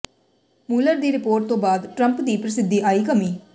Muller ਦੀ report ਤੋਂ ਬਾਅਦ ਟਰੰਪ ਦੀ ਪ੍ਰਸਿੱਧੀ ਆਈ ਕਮੀ